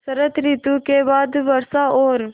शरत ॠतु के बाद वर्षा और